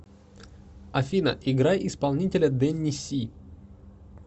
афина играй исполнителя дэнни си